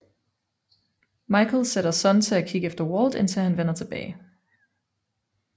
Michael sætter Sun til at kigge efter Walt indtil han vender tilbage